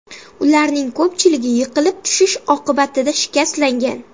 Ularning ko‘pchiligi yiqilib tushish oqibatida shikastlangan.